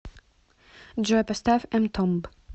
джой поставь эмтомб